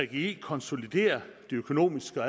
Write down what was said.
gggi konsoliderer de økonomiske og